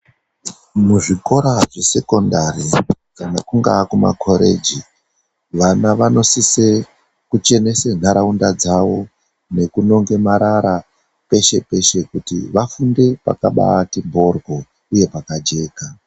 Muzvikora zvesekondari, dani kungaa kumakhoreji, vana vanosise kuchenese ntharaunda dzavo nekunonga marara peshe-peshe kuti vafunde pakabaati mphorwo uye pakachena